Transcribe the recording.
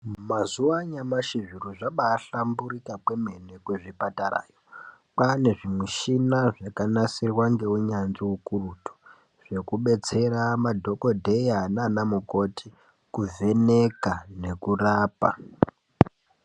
Mazuva anyamashi zviro zvabahlamburuka kwemene kuzvipatarayo kwane zvimuchina zvakanasirwa ngeunyanzvi ukurutu zvekudetsera madhokodheya nana mukoti kuvheneka nekurapa.